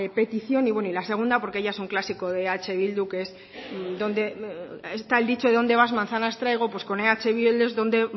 petición y la segunda porque ya es un clásico de eh bildu está el dicho de dónde vas manzanas traigo pues con eh bildu es donde